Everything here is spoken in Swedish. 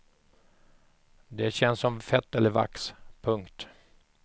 Det känns som fett eller vax. punkt